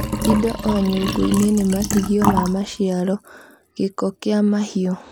Indo o nyũngũ -inĩ nĩ matigio ma maciaro, gĩko kĩa mahiũ